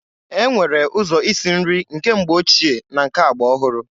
E nwere ụzọ isi nri nke mgbe ochie na nke agba ọhụrụ.